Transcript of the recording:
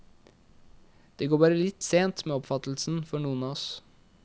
Det går bare litt sent med oppfattelsen for noen av oss.